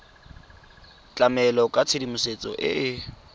tlamela ka tshedimosetso e e